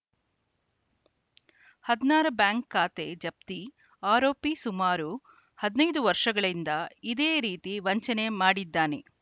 ಹದನಾರ ಬ್ಯಾಂಕ್‌ ಖಾತೆ ಜಪ್ತಿ ಆರೋಪಿ ಸುಮಾರು ಹದಿನೈದು ವರ್ಷಗಳಿಂದ ಇದೇ ರೀತಿ ವಂಚನೆ ಮಾಡಿದ್ದಾನೆ